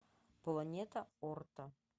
планета орто